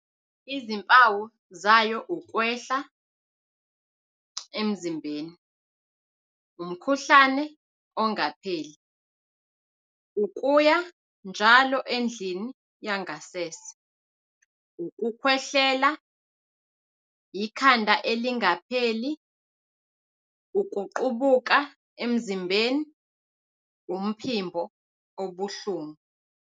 izimpawu zayo ukwehl emzimbeni, umkhuhlane ongapheli, ukuya njalo endlini yangasese, ukukhwehlela, ikhanda elingapheli, ukuqubuka emzimbeni, umphimbo obuhlungu